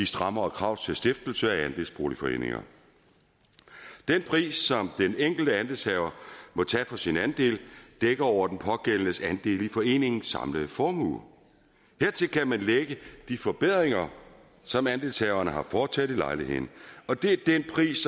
strammere krav til stiftelse af andelsboligforeninger den pris den enkelte andelshaver må tage for sin andel dækker over den pågældendes andel i foreningens samlede formue hertil kan man lægge de forbedringer som andelshaverne har foretaget i lejligheden og det er den pris